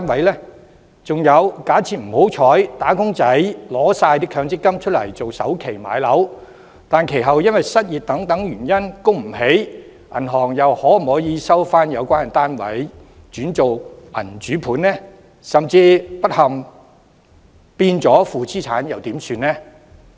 還有，假設"打工仔"取走所有強積金作為置業的首期，但不幸地，其後因失業等原因而無法償還按揭，銀行可否收回相關單位轉為銀主盤；甚至不幸地相關單位變為負資產，又應怎辦？